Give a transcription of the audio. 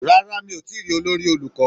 Rárá, mi ò tíì rí olórí olùkọ́?